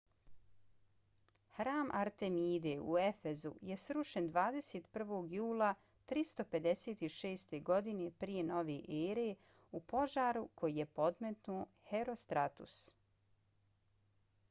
hram artemide u efezu je srušen 21. jula 356. godine p.n.e. u požaru koji je podmetnuo herostratus